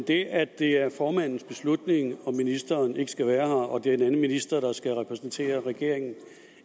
det at det er formandens beslutning at ministeren ikke skal være her og at det er en anden minister der skal repræsentere regeringen